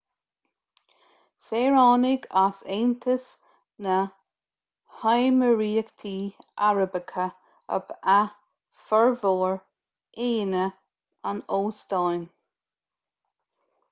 saoránaigh as aontas na néimiríochtaí arabacha ab ea formhór aíonna an óstáin